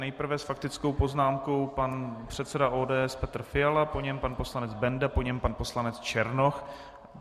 Nejprve s faktickou poznámkou pan předseda ODS Petr Fiala, po něm pan poslanec Benda, po něm pan poslanec Černoch.